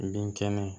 Bin kɛnɛ